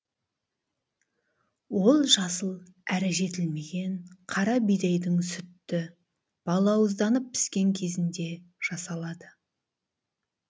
ол жасыл әрі жетілмеген қара бидайдың сүтті балауызданып піскен кезінде жасалады